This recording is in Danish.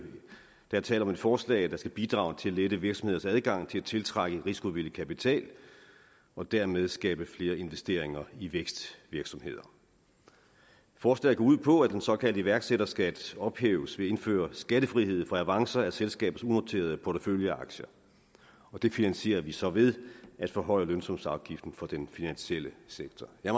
tale om et forslag der skal bidrage til at lette virksomheders adgang til at tiltrække risikovillig kapital og dermed skabe flere investeringer i vækstvirksomheder forslaget går ud på at den såkaldte iværksætterskat ophæves ved at indføre skattefrihed for avancer af selskabers unoterede porteføljeaktier og det finansierer vi så ved at forhøje lønsumsafgiften for den finansielle sektor jeg